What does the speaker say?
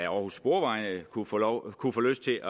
aarhus sporveje kunne få kunne få lyst til